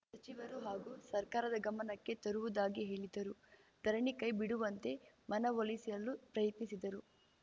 ಸಚಿವರು ಹಾಗೂ ಸರ್ಕಾರದ ಗಮನಕ್ಕೆ ತರುವುದಾಗಿ ಹೇಳಿದರು ಧರಣಿ ಕೈಬಿಡುವಂತೆ ಮನವೊಲಿಸಲು ಪ್ರಯತ್ನಿಸಿದರು